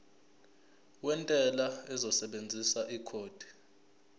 wentela uzosebenzisa ikhodi